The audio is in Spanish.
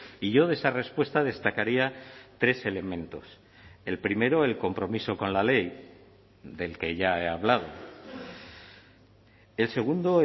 y yo de esa respuesta destacaría tres elementos el primero el compromiso con la ley del que ya he hablado el segundo